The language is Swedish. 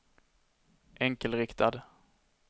enkelriktad